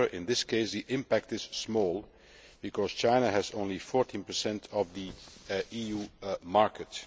However, in this case, the impact is small because China has only 14 of the EU market.